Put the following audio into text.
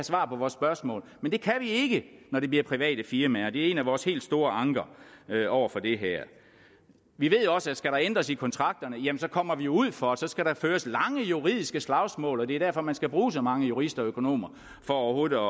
svar på vores spørgsmål men det kan vi ikke når det bliver private firmaer og det er en af vores helt store anker over for det her vi ved også at skal der ændres i kontrakterne så kommer vi ud for langvarige juridiske slagsmål og det er derfor man skal bruge så mange jurister og økonomer for overhovedet at